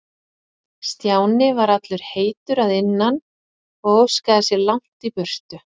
Stjáni var allur heitur að innan og óskaði sér langt í burtu.